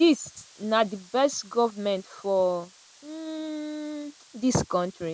dis na di best goment for um dis kontri.